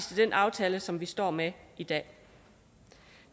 til den aftale som vi står med i dag